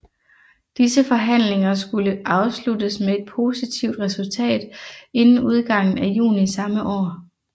Disse forhandlinger skulle afsluttes med et positivt resultat inden udgangen af juni samme år